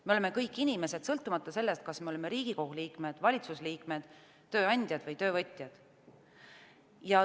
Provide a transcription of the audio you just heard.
Me oleme kõik inimesed, sõltumata sellest, kas me oleme Riigikogu liikmed, valitsusliikmed, tööandjad või töövõtjad.